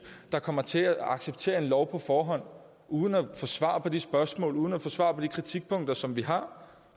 der kommer til at acceptere en lov på forhånd uden at få svar på de spørgsmål uden at få svar de kritikpunkter som vi har